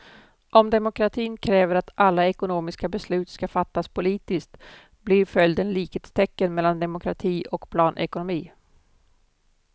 Om demokratin kräver att alla ekonomiska beslut ska fattas politiskt blir följden likhetstecken mellan demokrati och planekonomi.